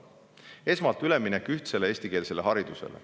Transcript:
Esmalt, üleminek ühtsele eestikeelsele haridusele.